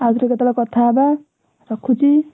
ଆଉଥରେ କେତେବେଳେ କଥା ହେବା ରଖୁଛି।